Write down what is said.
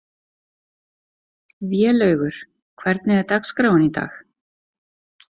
Vélaugur, hvernig er dagskráin í dag?